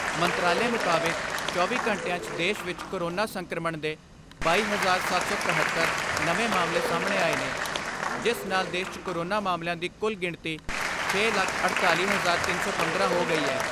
ਮੰਤਰਾਲੇ ਮੁਤਾਬਿਕ ਚੌਵੀ ਘੰਟਿਆਂ 'ਚ ਦੇਸ਼ ਵਿਚ ਕੋਰੋਨਾ ਸੰਕਰਮਣ ਦੇ ਬਾਈ ਹਜ਼ਾਰ ਸੱਤ ਸੌ ਇੱਕਹੱਤਰ ਨਵੇਂ ਮਾਮਲੇ ਸਾਹਮਣੇ ਆਏ ਨੇ ਜਿਸ ਨਾਲ ਦੇਸ਼ 'ਚ ਕੋਰੋਨਾ ਮਾਮਲਿਆਂ ਦੀ ਕੁਲ ਗਿਣਤੀ ਛੇ ਲੱਖ ਅੜਤਾਲੀ ਹਜ਼ਾਰ ਤਿੰਨ ਸੌ ਪੰਦਰਾਂ ਹੋ ਗਈ ਐ।